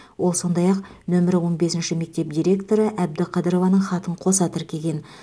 ол сондай ақ нөмірі он бесінші мектеп директоры әбдіқадырованың хатын қоса тіркеген